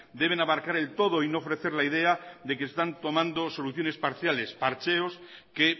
deben abarcar el todo y no ofrecer la idea de que están tomando soluciones parciales parcheos que